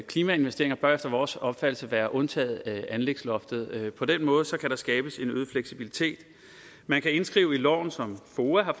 klimainvesteringer bør efter vores opfattelse være undtaget anlægsloftet på den måde kan der skabes en øget fleksibilitet man kan indskrive i loven som foa har